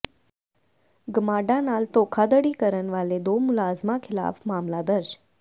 ਗਮਾਡਾ ਨਾਲ ਧੋਖਾਧੜੀ ਕਰਨ ਵਾਲੇ ਦੋ ਮੁਲਜ਼ਮਾਂ ਖਿਲਾਫ਼ ਮਾਮਲਾ ਦਰਜ